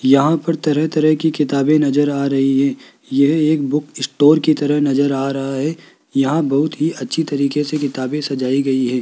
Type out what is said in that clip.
यहां पर तरह तरह की किताबें नजर आ रही है यह एक बुक स्टोर की तरह नजर आ रहा है यहां बहोत ही अच्छी तरीके से किताबें सजाई गई है।